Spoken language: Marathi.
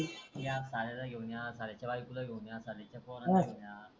या साल्याला घेऊन आय सल्याच्या बायकोला घेऊन या साळ्याच्या पोराला घेऊन या.